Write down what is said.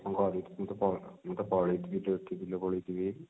ପଢିଛି ମୁଁ ତ ମୁଁ ତ ପଢିଥିଲି